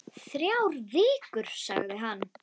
Þrjár vikur, sagði hann.